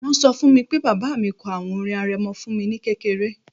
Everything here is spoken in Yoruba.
Wọ́n ṣọ fún mi pé bàbá mi kọ àwọn orin arẹmọ fún mi ní kékeré